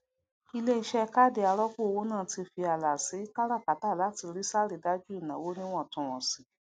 iléiṣẹ káàdì arọpọ owó náà tí fí ààlà sí káràkátà láti rí sàrídájú ìnáwó níwàntúnwànsí